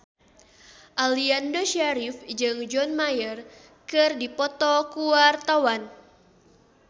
Aliando Syarif jeung John Mayer keur dipoto ku wartawan